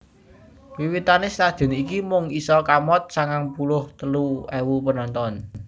Wiwitane stadion iki mung isa kamot sangang puluh telu ewu penonton